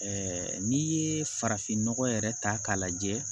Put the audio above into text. n'i ye farafinnɔgɔ yɛrɛ ta k'a lajɛ